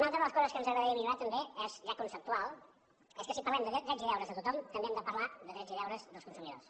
una altra de les coses que ens agradaria millorar també ja conceptual és que si parlem de drets i deures de tothom també hem de parlar de drets i deures dels consumidors